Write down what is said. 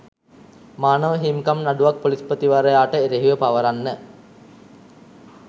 මානව හිමිකම් නඩුවක් ‍පොලිස්පතිවරයාට එරෙහිව පවරන්න.